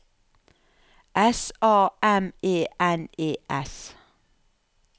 S A M E N E S